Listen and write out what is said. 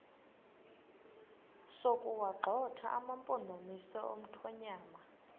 sokuwagxotha amampondomise omthonvama